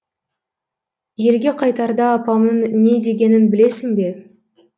елге қайтарда апамның не дегенін білесің бе